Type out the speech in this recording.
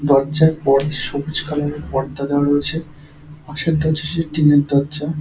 দরজায় প সবুজ কালার -এর পর্দা দেওয়া রয়েছে। পাশের দরজাটি টিন -এর দরজা।